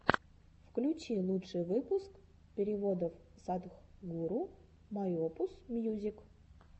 включи лучший выпуск переводов садхгуру майопус мьюзик